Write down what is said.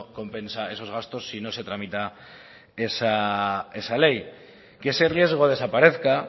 compensa esos gastos si no se tramita esa ley que ese riesgo desaparezca